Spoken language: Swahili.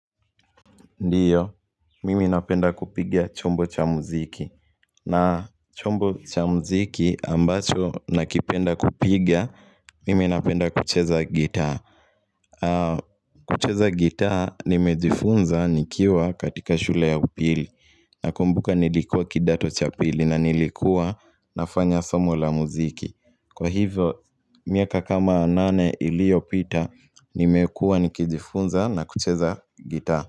Ndiyo, mimi napenda kupiga chombo cha muziki na chombo cha muziki ambacho nakipenda kupiga, mimi napenda kucheza gitaa kucheza gitaa, nimejifunza nikiwa katika shule ya upili Nakumbuka nilikuwa kidato cha pili na nilikuwa nafanya somo la muziki Kwa hivyo, miaka kama nane iliyopita, nimekuwa nikijifunza na kucheza gitaa.